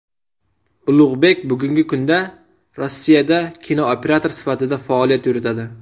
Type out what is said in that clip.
Ulug‘bek bugungi kunda Rossiyada kinooperator sifatida faoliyat yuritadi.